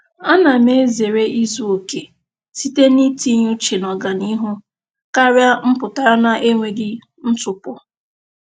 A na m ezere izuokè site n'itinye uche n'ọganihu karịa mpụtara n'enweghị ntụpọ.